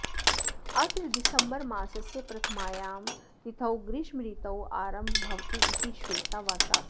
अत्र दिसम्बरमासस्य प्रथमायां तिथौ ग्रीष्मर्तोरारम्भो भवतु इति श्वेताः शासति